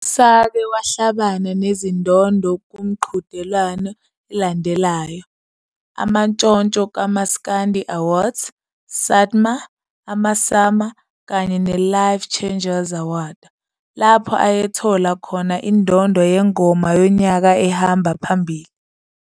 Usake wahlabana nezindondo kumqhudelwano elandelayo, Amantshonthso kaMaskandi Awards, SATMA, amaSAMA kanye ne-The Life Changers Awards, lapho ayethola khona indondo yeNgoma Yonyaka ehamba Phambili.